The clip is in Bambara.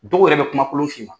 Dɔw yɛrɛ bɛ kumakolon' f'i ma.